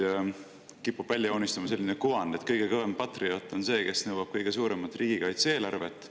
Kipub välja joonistuma selline kuvand, et kõige kõvem patrioot on see, kes nõuab kõige suuremat riigikaitse eelarvet.